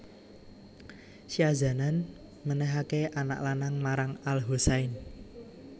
Syahzanan menehake anak lanang marang al Husain